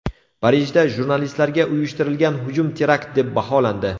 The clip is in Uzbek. Parijda jurnalistlarga uyushtirilgan hujum terakt deb baholandi.